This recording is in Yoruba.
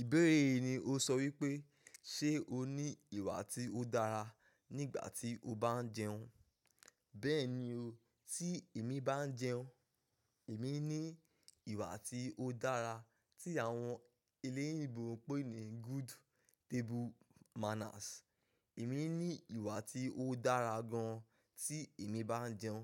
Ìbéèrè yìí ni ó sọ wípé, ṣe o ní ìwà tí ó dára nígbà tí o bá ń jẹun? Bẹ́ẹ̀ni o, tí èmi bá ń jẹun, èmi ní ìwà tí ó dára tí àwọn eléyinbo ń pè ní good table manners. Èmi ní ìwà tí ó dára gan tí èmi bá ń jẹun.